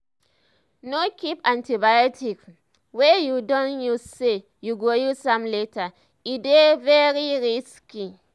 no keep antibiotics um wey u don use say you go use am later e dey um very risky